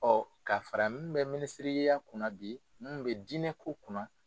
ka fara min bɛ minisiriya kunna bi min bɛ diinɛko kunna.